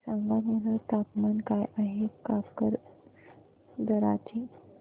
सांगा बरं तापमान काय आहे काकरदरा चे